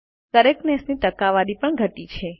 correctness ની ટકાવારી પણ ધટી છે